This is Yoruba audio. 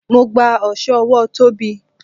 Mo gba oso ọwọ Tóbi.